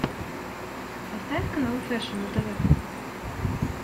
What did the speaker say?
поставь канал фэшн на тв